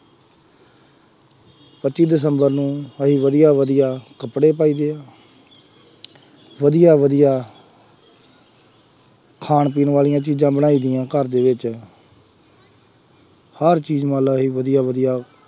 ਪੱਚੀ ਦਿਸੰਬਰ ਨੂੰ ਅਸੀਂ ਵਧੀਆ ਵਧੀਆ ਕੱਪੜੇ ਪਾਈਦੇ ਆ, ਵਧੀਆ ਵਧੀਆਂ ਖਾਣ ਪੀਣ ਵਾਲੀਆਂ ਚੀਜ਼ਾਂ ਬਣਾਈ ਦੀਆਂ ਘਰ ਦੇ ਵਿੱਚ ਹਰ ਚੀਜ਼ ਮੰਨ ਲਾ ਅਸੀਂ ਵਧੀਆ ਵਧੀਆ